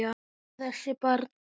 Hættu þessu barn!